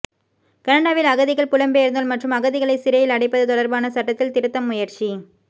கனடாவில் அகதிகள் புலம்பெயர்ந்தோர் மற்றும் அகதிகளை சிறையில் அடைப்பது தொடர்பான சட்டத்தில் திருத்தம் முயற்சி